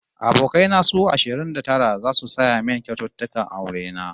Abokai na su ashirin da tara zasu saya min kyaututtukan aure na